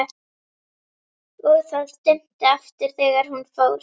og það dimmdi aftur þegar hún fór.